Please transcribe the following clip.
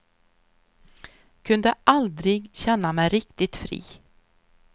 Kunde aldrig känna mig riktigt fri.